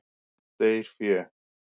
Deyr fé.